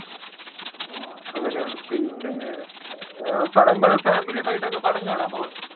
ആഹ് അങ്ങനെയാണ് പിന്നെ ആഹ് ഫാമിലിയൊക്കെ ആയിട്ട് പടം കാണാൻപോകാറുണ്ടോ